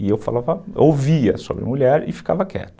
E eu falava, ouvia sobre mulher e ficava quieto.